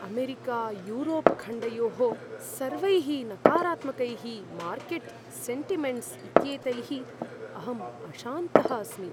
अमेरिकायूरोप्खण्डयोः सर्वैः नकारात्मिकैः market sentiments इत्येतैः अहम् अशान्तः अस्मि।